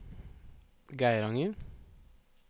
Geiranger